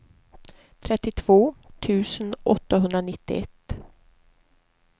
trettiotvå tusen åttahundranittioett